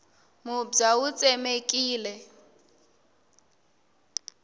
mubya wu tsemekile